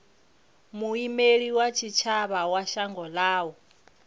muimeli wa tshitshavha wa shango ḽavho